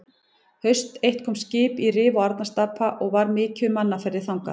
Haust eitt kom skip í Rif og Arnarstapa og var mikið um mannaferðir þangað.